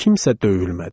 Kimsə döyülmədi.